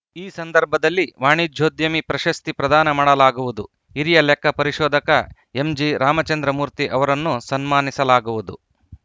ಈ ಸಂದರ್ಭದಲ್ಲಿ ವಾಣಿಜ್ಯೋದ್ಯಮಿ ಪ್ರಶಸ್ತಿ ಪ್ರದಾನ ಮಾಡಲಾಗುವುದು ಹಿರಿಯ ಲೆಕ್ಕ ಪರಿಶೋಧಕ ಎಂಜಿ ರಾಮಚಂದ್ರಮೂರ್ತಿ ಅವರನ್ನು ಸನ್ಮಾನಿಸಲಾಗುವುದು